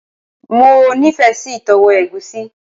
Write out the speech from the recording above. Mo nife si itowo egusi